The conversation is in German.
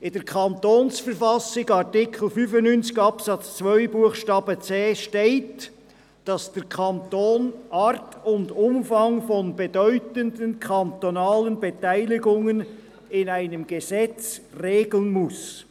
In der Verfassung des Kantons Bern (KV) steht im Artikel 95 Absatz 2 Buchstabe c, dass der Kanton «Art und Umfang von bedeutenden kantonalen Beteiligungen» in einem Gesetz regeln muss.